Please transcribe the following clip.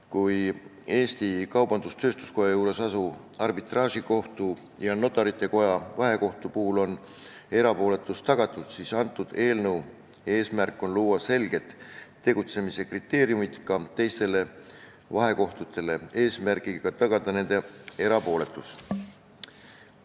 Kui Eesti Kaubandus-Tööstuskoja juures asuva arbitraažikohtu ja Notarite Koja vahekohtu puhul on erapooletus tagatud, siis eelnõu eesmärk on luua selged tegutsemise kriteeriumid ka teistele vahekohtutele, et tagada nendegi erapooletus.